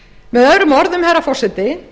með öðrum orðum herra forseti